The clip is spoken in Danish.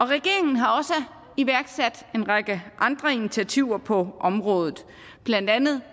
regeringen har også iværksat en række andre initiativer på området blandt andet